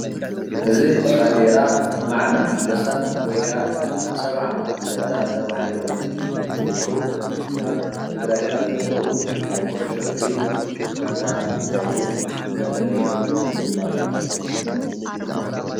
እዚ ባንዴራ ሞዓም ኣንበሳ ወይ ከዓ ሰብዓ እንደርታ ተባሂሎም ዝጽውዑ ኣብ ትግራይ ካብ ዘለዉ ናይ ኩዑሾ እግሪ ጋንታ እንትኮኑ መለለዩኣም ድማ እዩ።